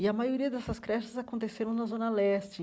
E a maioria dessas creches aconteceram na Zona Leste.